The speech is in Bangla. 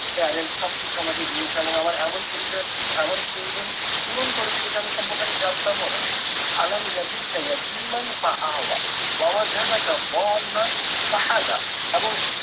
parents সব কিছু আমাকে দিয়েছে এবং আমার এমন পরিচয় এমন প্রয়োজন পূরণ করে সেটা যেটা সম্পর্কে আমি জানতাম ও না এবং